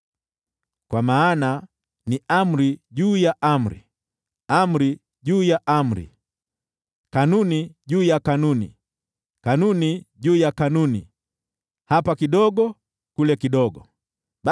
Kwa maana ni: Amri juu ya amri, amri juu ya amri, kanuni juu ya kanuni, kanuni juu ya kanuni; hapa kidogo, kule kidogo.”